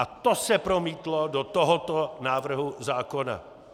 A to se promítlo do tohoto návrhu zákona.